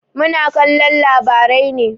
Muna kallon labarai ne.